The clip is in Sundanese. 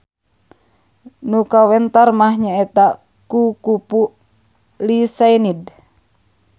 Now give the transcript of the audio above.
Nu kawentar mah nyaeta kukupu Lycaenid.